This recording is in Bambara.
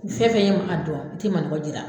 Fɛn fɛn ye n Kunba dɔn n tɛ manɔgɔ jira.